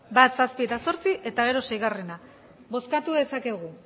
bat zazpi eta zortzi eta gero sei bozkatu dezakegu